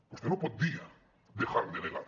vostè no pot dir dejar de negar